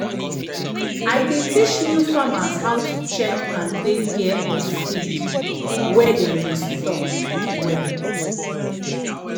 i dey teach new farmers how to check and take care of feed wey dem store um well.